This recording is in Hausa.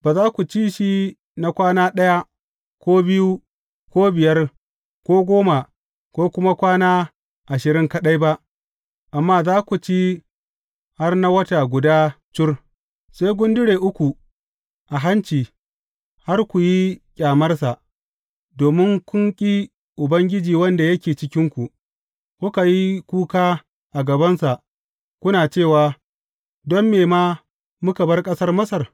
Ba za ku ci shi na kwana ɗaya, ko biyu, ko biyar, ko goma, ko kuma kwana ashirin kaɗai ba, amma za ku ci har na wata guda cur, sai ya gundure ku a hanci har ku yi ƙyamarsa, domin kun ƙi Ubangiji wanda yake cikinku, kuka yi kuka a gabansa, kuna cewa, Don me ma muka bar ƙasar Masar?